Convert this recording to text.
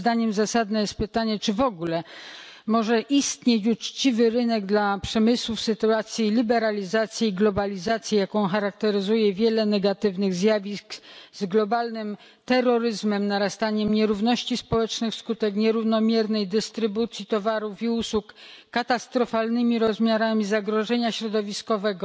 Moim zdaniem zasadne jest pytanie, czy w ogóle może istnieć uczciwy rynek dla przemysłu w sytuacji liberalizacji i globalizacji, jaką charakteryzuje wiele negatywnych zjawisk z globalnym terroryzmem, narastaniem nierówności społecznych wskutek nierównomiernej dystrybucji towarów i usług, katastrofalnymi rozmiarami zagrożenia środowiskowego,